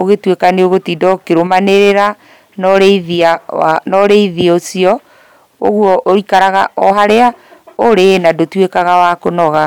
ũgĩtuĩka nĩũgũtinda ũkĩrũmanĩrĩra na ũrĩithia waku na ũrĩithia ũcio, ũguo ũikaraga o harĩa ũrĩ na ndũtuĩkaga wa kũnoga.